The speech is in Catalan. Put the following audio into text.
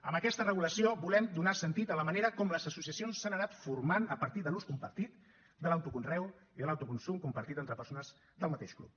amb aquesta regulació volem donar sentit a la manera com les associacions s’han anat formant a partir de l’ús compartit de l’autoconreu i de l’autoconsum compartit entre persones del mateix club